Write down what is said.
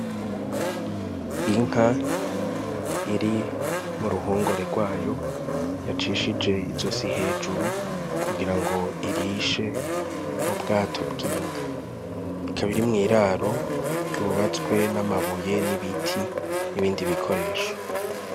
Inka iri mu ruhungore gwayo yacishije izosi hejuru kugira ngo irishe mu bwato bw'inka, ikaba iri mw'iraro ryubatswe n' amabuye n' ibiti n' ibindi bikoresho.